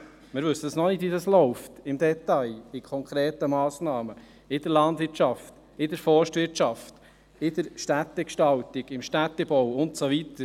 Wir wissen noch nicht, wie die konkreten Massnahmen im Detail laufen – in der Landwirtschaft, in der Forstwirtschaft, in der Städtegestaltung, im Städtebau und so weiter.